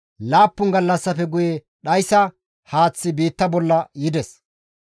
laappun gallassafe guye dhayssa haaththi biitta bolla yides.